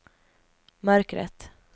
mörkret